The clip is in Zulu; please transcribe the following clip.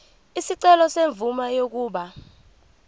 isicelo semvume yokuba